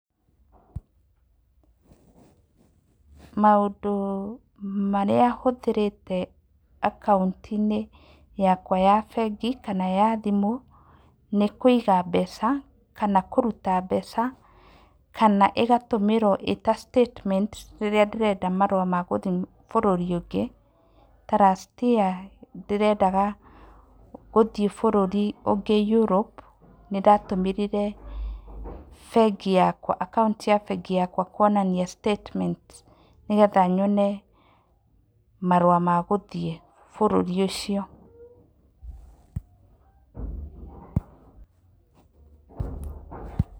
Pause maũndũ marĩa hũthĩrĩte akauntĩ-inĩ yakwa ya bengi kana ya thimũ, nĩ kũiga mbeca kana kũruta mbeca, kana ĩgatũmĩrwo ĩta statement rĩrĩa ndĩrenda marũa magũthiĩ bũrũri ũngĩ. Ta last year ndĩrendaga gũthiĩ bũrũri ũngĩ Europe, nĩndatũmĩrire bengi yakwa, akaunti ya bengi yakwa kuonania statement, nĩgetha nyone marũa magũthiĩ bũrũri ũcio.